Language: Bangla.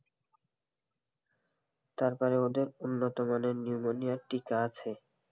তার মানে ওদের উন্নত মানের নিউমোনিয়া টীকা আছে.